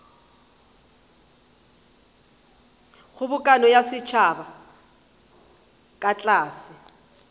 kgobokano ya setšhaba ka tlase